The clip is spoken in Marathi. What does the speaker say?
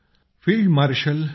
field marshal K